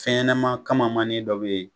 Fɛnɲɛnaman kamamani dɔ be yen